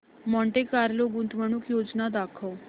Monte Carlo गुंतवणूक योजना दाखव